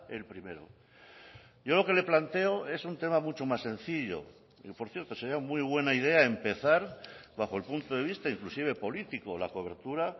el primero yo lo que le planteo es un tema mucho más sencillo y por cierto sería muy buena idea empezar bajo el punto de vista inclusive político la cobertura